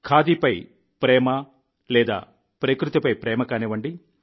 ఖాదీపై ప్రేమ లేదా ప్రకృతిపై ప్రేమ కానివ్వండి